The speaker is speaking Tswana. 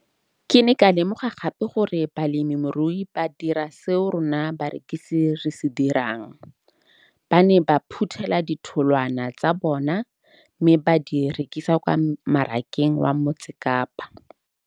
Ke ne ka lemoga gape gore balemirui ba dira seo rona barekisi re se dirang, ba ne ba phuthela ditholwana tsa bona mme ba di rekisa kwa marakeng wa Motsekapa.